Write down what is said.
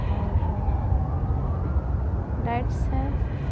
और लाइट्स है।